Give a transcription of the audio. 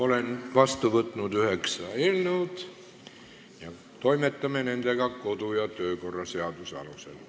Olen vastu võtnud üheksa eelnõu ja me toimetame nendega kodu- ja töökorra seaduse alusel.